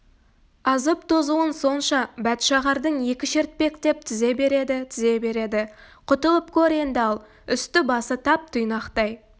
азып-тозуын сонша бәтшағардың екі шертпек деп тізе береді тізе береді құтылып көр енді ал үсті-басы тап-тұйнақтай